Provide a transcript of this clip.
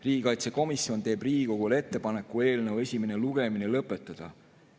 Riigikaitsekomisjon teeb Riigikogule ettepaneku eelnõu esimene lugemine lõpetada.